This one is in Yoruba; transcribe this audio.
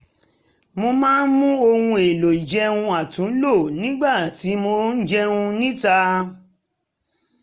mo máa ń mú ohun èlò ìjẹun àtúnlò nígbà tí mo ń jẹun níta